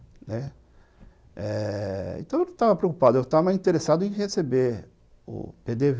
Né, então, eu não estava preocupado, eu estava interessado em receber o pê dê vê,